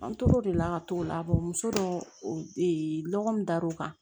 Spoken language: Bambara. An tor'o de la ka t'o la muso dɔ lɔgɔ min dar'o kan